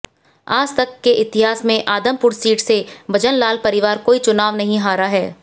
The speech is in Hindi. आज तक के इतिहास में आदमपुर सीट से भजनलाल परिवार कोई चुनाव नहीं हारा है